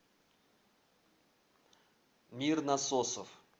мир насосов